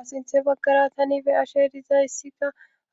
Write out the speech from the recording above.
Aasinthe baggara tani be ashe dizayssika